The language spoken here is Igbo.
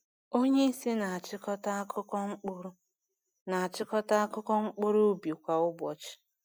Onye isi na-achịkọta akụkọ mkpụrụ na-achịkọta akụkọ mkpụrụ ubi kwa ụbọchị.